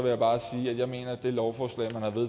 jeg bare sige at jeg mener at det lovforslag man